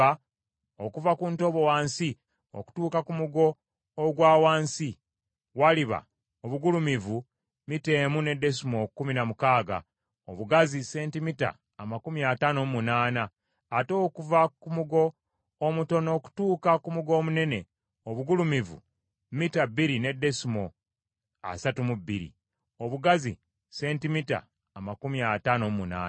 okuva ku ntobo wansi okutuuka ku mugo ogwa wansi, waliba obugulumivu mita emu ne desimoolo kkumi na mukaaga, obugazi sentimita amakumi ataano mu munaana, ate okuva ku mugo omutono okutuuka ku mugo omunene, obugulumivu mita bbiri ne desimoolo asatu mu bbiri, obugazi sentimita amakumi ataano mu munaana.